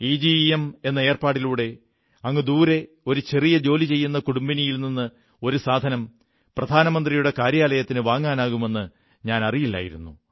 iGEM എന്ന ഏർപ്പാടിലൂടെ അങ്ങുദൂരെ ഒരു ചെറിയ ജോലി ചെയ്യുന്ന കുടുംബിനിയിൽ നിന്നൊരു സാധനം പ്രധാനമന്ത്രിയുടെ കാര്യാലയത്തിന് വാങ്ങാനാകുമെന്നു എനിക്കറിയില്ലായിരുന്നു